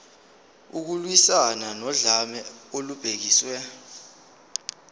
ukulwiswana nodlame olubhekiswe